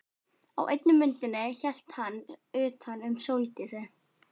Á einni myndinni hélt hann utan um Sóldísi.